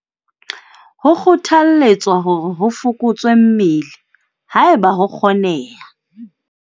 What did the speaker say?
Ho kgothalletswa hore ho fokotswe mmele, haeba ho kgoneha.